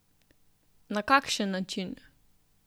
Na kakšen način?